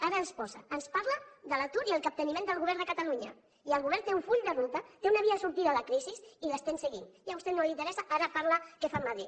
ara ens parla de l’atur i el capteniment del govern de catalunya i el govern té un full de ruta té una via de sortida de la crisi i l’estem seguint i a vostè no li interessa ara parla de què es fa a madrid